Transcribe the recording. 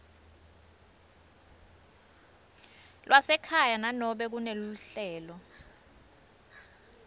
lwasekhaya nanobe kuneluhlelo